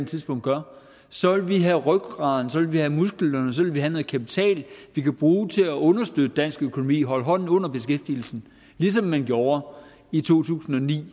tidspunkt gør så vil vi have rygraden så vil vi have musklerne så vil vi have noget kapital vi kan bruge til at understøtte dansk økonomi holde hånden under beskæftigelsen ligesom man gjorde i to tusind og ni